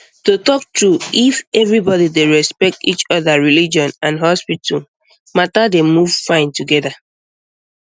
to talk true if everybody dey respect each other religion and hospital um matter dey move fine together